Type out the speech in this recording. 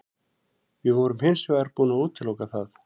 Við vorum hins vegar búin að útiloka það.